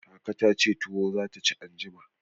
Kaka ta ce tuwo za ta ci anjima.